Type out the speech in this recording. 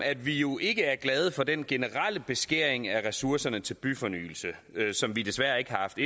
at vi jo ikke er glade for den generelle beskæring af ressourcerne til byfornyelse i finansloven som vi desværre ikke har haft